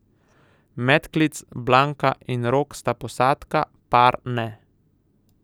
Medklic, Blanka in Rok sta posadka, par ne.